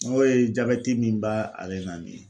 N'o ye jabɛti min ba ale na nin ye.